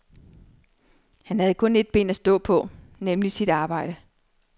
Han havde kun et ben at stå på, nemlig sit arbejde.